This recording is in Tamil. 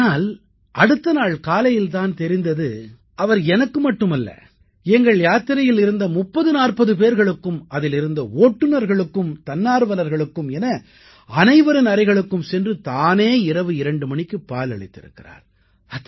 ஆம் ஆனால் அடுத்த நாள் காலையில் தான் தெரிந்து அவர் எனக்கு மட்டுமல்ல எங்கள் யாத்திரையில் இருந்த 3040 பேர்களுக்கும் அதில் இருந்த ஓட்டுநர்களுக்கும் தன்னார்வலர்களுக்கும் என அனைவரின் அறைகளுக்கும் சென்று தானே இரவு 2 மணிக்குப் பால் அளித்திருக்கிறார்